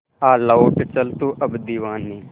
आ लौट चल तू अब दीवाने